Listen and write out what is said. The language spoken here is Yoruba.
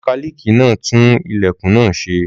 Mọkálíìkì náà tún ilẹ̀kùn náà ṣe.